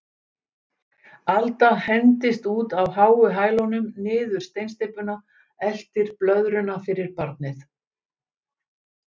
Alda hendist út á háu hælunum niður steinsteypuna, eltir blöðruna fyrir barnið.